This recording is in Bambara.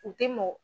U tɛ mɔn